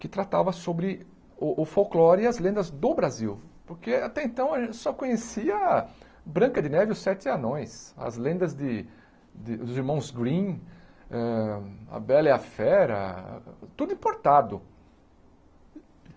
que tratava sobre o o folclore e as lendas do Brasil, porque até então a gente só conhecia Branca de Neve e os Sete Anões, as lendas de de dos Irmãos Grimm, a Bela e a Fera, tudo importado.